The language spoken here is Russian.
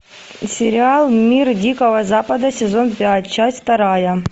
сериал мир дикого запада сезон пять часть вторая